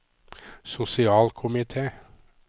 sosialkomite